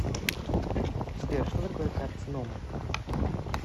сбер что такое карцинома